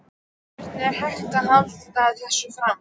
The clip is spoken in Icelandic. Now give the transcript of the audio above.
Hvernig er hægt að halda þessu fram?